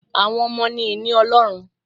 Àwọn ọmọ ni ìní Ọlọ́run